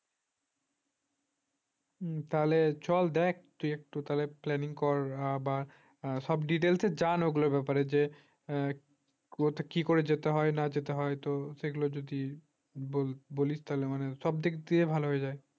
তাহলে চল দেখ একটু তাহলে planning কর বা সব details জান ওগুলোর ব্যাপারে যে কি করে যেতে হয় না যেতে হয় তো সেগুলো যদি বলিস তাহলে আমার বলিস তাহলে আমাকে সব দিক দিয়ে ভালো হয়ে যায়